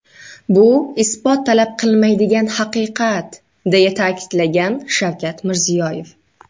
Bu isbot talab qilmaydigan, haqiqat”, deya ta’kidlagan Shavkat Mirziyoyev.